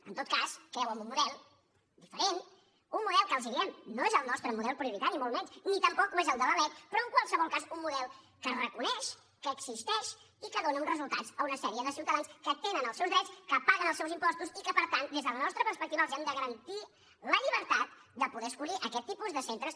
en tot cas creuen en un model diferent un model que els ho diem no és el nostre model prioritari ni molt menys ni tampoc ho és el de la lec però en qualsevol cas un model que es reconeix que existeix i que dóna uns resultats a una sèrie de ciutadans que tenen els seus drets que paguen els seus impostos i que per tant des de la nostra perspectiva els hem de garantir la llibertat de poder escollir aquest tipus de centres